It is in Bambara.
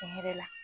Tiɲɛ yɛrɛ la